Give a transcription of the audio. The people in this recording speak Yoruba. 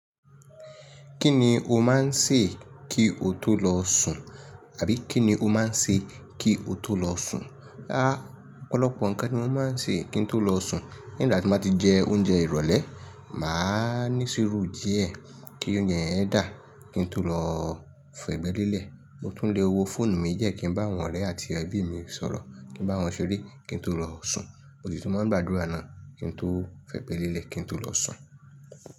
Kí ni o máa ń ṣe kí o tó lọ sùn? Àbí kí ni o máa ń ṣe kí o tó lọ sùn? Rárá, ọ̀pọ̀lọpọ̀ ǹkan ni mo máa ń ṣe kí n tó lọ sùn. Nígbà tí mo bá ti jẹ oúnjẹ ìrọ̀lẹ́, mà á ní sùúru díẹ̀ kí oúnjẹ yẹn dà kí n tó lọ fi ẹ̀gbẹ́ lélẹ̀. Mo tún le wo fóònù mi jẹ́ kí n bá àwọn ọ̀rẹ́ àti ẹbí mi sọ̀rọ̀, kí n bá wọn ṣeré kí n tó lọ sùn. Mo sì tún máa ń gba àdúrà náà kí n tó fẹ́gbẹ́ lélẹ̀ kí n tó lọ sùn.